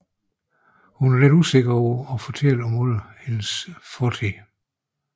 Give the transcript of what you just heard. Hun er lidt usikker over at fortælle alle om sin fortid